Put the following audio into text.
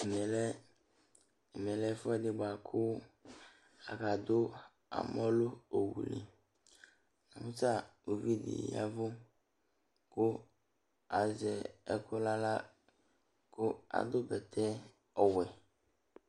Ɛmɛ lɛ, ɛmɛ lɛ ɛfʋɛdɩ bʋa kʋ akadʋ amɔ nʋ owu li Nʋ ta uvi dɩ ya ɛvʋ azɛ ɛkʋ nʋ aɣla kʋ adʋ bɛtɛ ɔwɛ